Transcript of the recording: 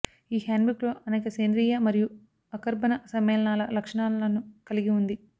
ఈ హ్యాండ్బుక్లో అనేక సేంద్రీయ మరియు అకర్బన సమ్మేళనాల లక్షణాలను కలిగి ఉంది